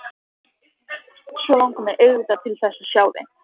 Svo langar mig auðvitað til þess að sjá þig.